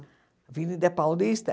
Avenida Paulista?